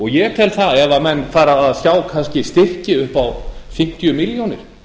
ég tel að ef menn fara að sjá kannski styrki upp á fimmtíu milljónir